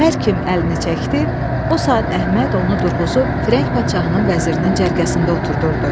Hər kim əlini çəkdi, o saat Əhməd onu durğuzub firəng padşahının vəzirinin cərgəsində oturdurdu.